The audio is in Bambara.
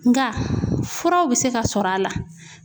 Nka furaw bɛ se ka sɔrɔ a la.